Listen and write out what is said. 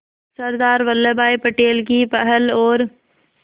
सरदार वल्लभ भाई पटेल की पहल और